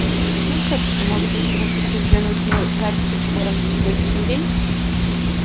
но всё-таки может быть вы захотите взглянуть на записи приборов за сегодняшний день